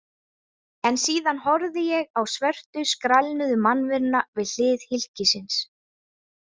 En síðan horfði ég á svörtu skrælnuðu mannveruna við hlið hylkisins.